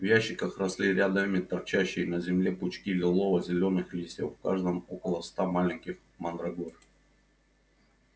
в ящиках росли рядами торчащие из земли пучки лилово-зелёных листьев в каждом около ста маленьких мандрагор